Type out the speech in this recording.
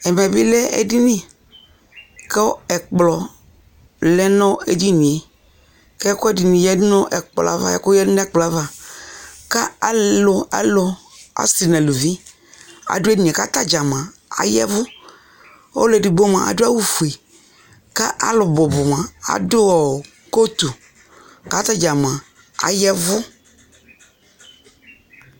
Ɛvɛ bι lɛ edini, kʋ ɛkplɔ lɛ nʋ ɛdini yɛ, kʋ ɛkʋ ɛdιnι yadu nʋ ɛkplɔ yɛ ava, ɛkʋ ya dʋ nʋ ɛkplɔ yɛ ava kʋ alʋ, alʋ, asι nʋ aluvi, adʋ edini yɛ kʋ ata dza ayavʋ Ɔlʋ edigbo mʋa, adʋ awʋ fue kʋ alʋ bʋbʋ mʋa, adʋ kootu, kʋ atadza mʋa ayavʋ